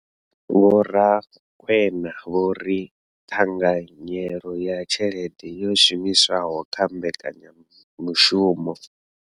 Vho Rakwena vho ri ṱhanganyelo ya tshelede yo shumiswaho kha mbekanya mushumo.